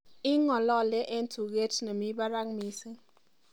ing'olole en tuget nemi barak missing